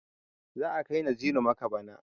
Za a kai Naziru makka bana.